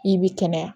I bɛ kɛnɛya